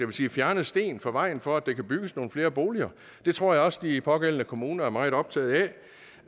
vi sige fjerne sten på vejen for at der kan bygges nogle flere boliger det tror jeg også de pågældende kommuner er meget optaget